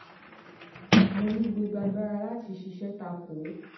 mo ní gbogbo agbára láti ṣiṣẹ́ ta kò ó